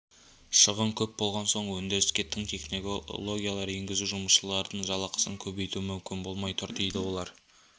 шығын көп болған соң өндіріске тың технологиялар енгізу жұмысшылардың жалақысын көбейту мүмкін болмай тұр дейді олар